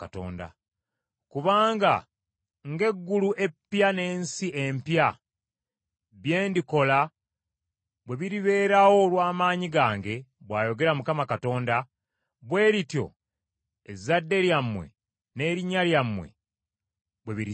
“Kubanga nga eggulu eppya n’ensi empya, bye ndikola bwe biribeerawo olw’amaanyi gange, bw’ayogera Mukama Katonda, bwe lityo ezzadde lyammwe n’erinnya lyammwe bwe birisigala.